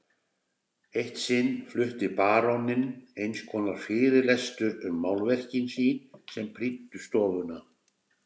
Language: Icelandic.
Eitt sinn flutti baróninn einskonar fyrirlestur um málverkin sín sem prýddu stofuna.